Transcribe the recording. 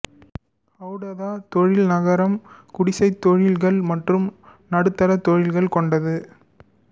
ஹெடௌதா தொழில் நகரம் குடிசைத் தொழில்கள் மற்றும் நடுத்தர தொழில்கள் கொண்டது